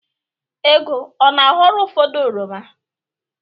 Ego ọ na-aghọrọ ụfọdụ oroma?